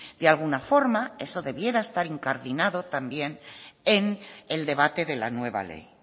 de alguna forma eso debiera estar incardinado también en el debate de la nueva ley